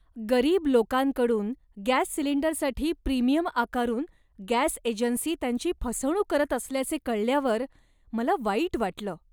गरीब लोकांकडून गॅस सिलिंडरसाठी प्रीमियम आकारून गॅस एजन्सी त्यांची फसवणूक करत असल्याचे कळल्यावर मला वाईट वाटलं.